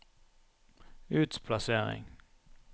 utplassering